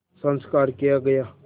संस्कार किया गया